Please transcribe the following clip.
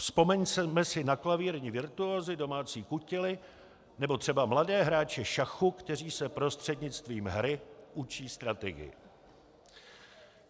Vzpomeňme si na klavírní virtuózy, domácí kutily nebo třeba mladé hráče šachu, kteří se prostřednictvím hry učí strategii.